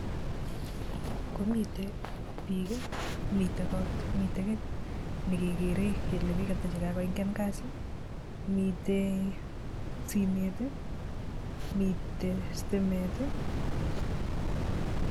Komitei bik, mitei koot, mitei kiy nekekeree kele biik ata chekakoingian kasi, mitei simet, mitei stimet.